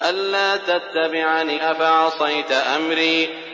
أَلَّا تَتَّبِعَنِ ۖ أَفَعَصَيْتَ أَمْرِي